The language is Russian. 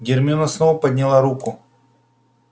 гермиона снова подняла руку